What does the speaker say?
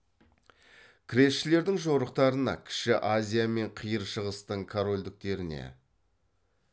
крестшілердің жорықтарына кіші азия мен қиыр шығыстың корольдіктеріне